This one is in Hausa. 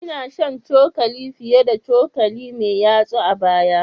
Ina shan cokali fiye da cokali mai yatsa a baya